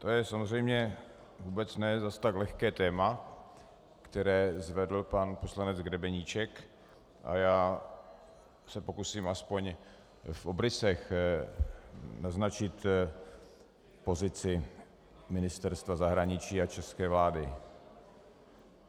To je samozřejmě vůbec ne zas tak lehké téma, které zvedl pan poslanec Grebeníček, a já se pokusím aspoň v obrysech naznačit pozici Ministerstva zahraničí a české vlády.